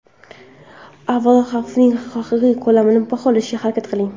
Avvalo, xavfning haqiqiy ko‘lamini baholashga harakat qiling.